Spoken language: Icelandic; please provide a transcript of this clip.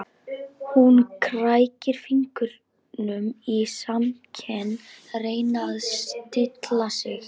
Hún krækir fingrum í smekkinn, reynir að stilla sig.